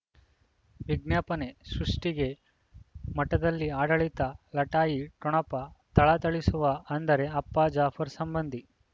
ವಿಜ್ಞಾಪನೆ ಸೃಷ್ಟಿಗೆ ಮಠದಲ್ಲಿ ಆಡಳಿತ ಲಟಾಯಿ ಠೊಣಪ ಥಳಥಳಿಸುವ ಅಂದರೆ ಅಪ್ಪ ಜಾಫರ್ ಸಂಬಂಧಿ